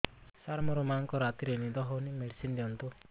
ସାର ମୋର ମାଆଙ୍କୁ ରାତିରେ ନିଦ ହଉନି ମେଡିସିନ ଦିଅନ୍ତୁ